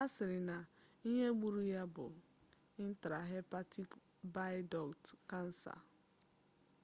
asiri na ihe gburu ya bu intrahepatic bile duct kansa